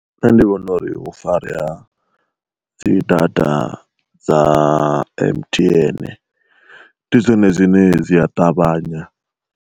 Nṋe ndi vhona uri hu farea dzi data dza M_T_N ndi zwone zwine dzi a ṱavhanya.